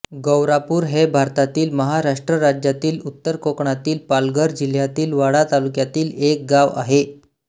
गौरापूर हे भारतातील महाराष्ट्र राज्यातील उत्तर कोकणातील पालघर जिल्ह्यातील वाडा तालुक्यातील एक गाव आहे